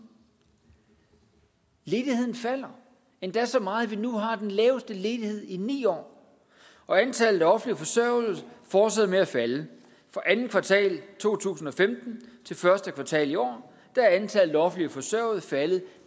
ledigheden falder endda så meget at vi nu har den laveste ledighed i ni år og antallet af offentligt forsørgede fortsætter med at falde fra andet kvartal to tusind og femten til første kvartal i år er antallet af offentligt forsørgede faldet